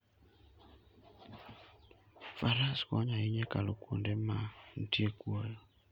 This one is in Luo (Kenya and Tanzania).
Faras konyo ahinya e kalo kuonde ma nitie kuoyo.